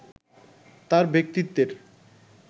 তাঁর ব্যক্তিত্বের